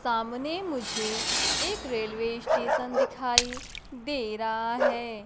सामने मुझे एक रेलवे स्टेशन दिखाई दे रहा है।